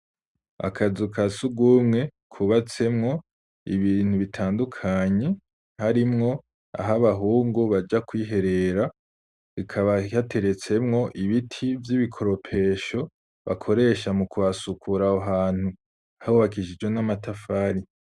Akazu ka sugumwe kubatsemwo ibintu bitandukanye harimwo aho abahungu baja kwiherera, hakaba hateretsemwo ibiti vy'ibikoropesho bakoresha mu kuhasukura aho hantu, hubakishijwe n'amatafari.